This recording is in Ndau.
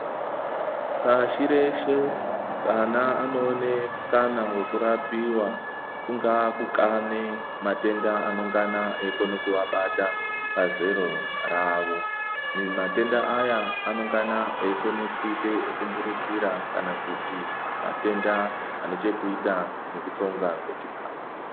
Pashi reshe vana anoene mukana weku rapira kungave kukane matenda anongana eyikone kuva bata pa zero ravo matenda aya anongana eikone kuite eku mburukira kana kuti matenda ane chekuita neku tsonga kwe chikafu.